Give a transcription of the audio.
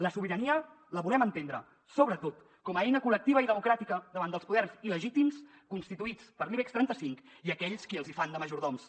la sobirania la volem entendre sobretot com a eina col·lectiva i democràtica davant dels poders il·legítims constituïts per l’ibex trenta cinc i aquells qui els hi fan de majordoms